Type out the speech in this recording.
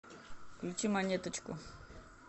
включи монеточку